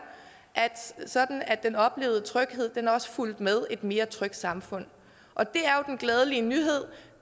sådan at den oplevede tryghed også fulgte med et mere trygt samfund og det er jo den glædelige nyhed